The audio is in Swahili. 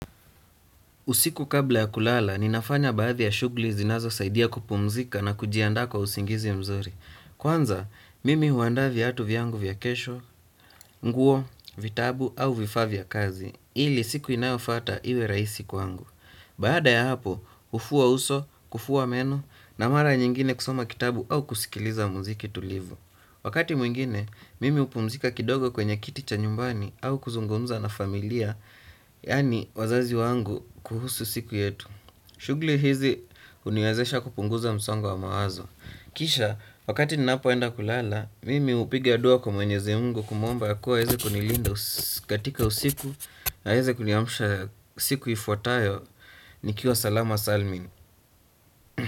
Usiku kabla ya kulala, ninafanya baadhi ya shughuli zinazosaidia kupumzika na kujiandaa kwa usingizi mzuri. Kwanza, mimi huandaa viatu vyangu vya kesho, nguo, vitabu au vifaa vya kazi, ili siku inayofuata iwe rahisi kwangu. Baada ya hapo, hufua uso, kufua meno, na mara nyingine kusoma kitabu au kusikiliza muziki tulivu. Wakati mwingine, mimi hupumzika kidogo kwenye kiti cha nyumbani au kuzungumza na familia, yaani wazazi wangu kuhusu siku yetu. Shughuli hizi huniwezesha kupunguza msongo wa mawazo. Kisha, wakati ninapoenda kulala, mimi hupiga dua kwa mwenyezi mungu kumwomba ya kuwa aweze kunilinda katika usiku na aeze kuniamusha siku ifuatayo. Nikiwa salama salmin.